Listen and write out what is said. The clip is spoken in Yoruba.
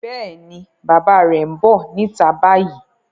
Yes, bàbá rẹ̀ ń bọ̀ níta báyìí.